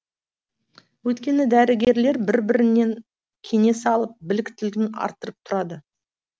өйткені дәрігерлер бір бірінен кеңес алып біліктілігін арттырып тұрады